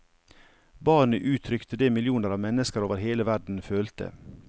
Barnet uttrykte det millioner av mennesker over hele verden følte.